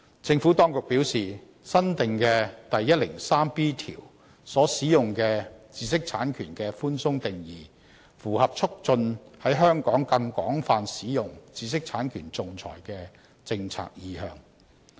政府當局表示，新訂的第 103B 條所使用的"知識產權"的寬鬆定義，符合促進在香港更廣泛使用知識產權仲裁的政策意向。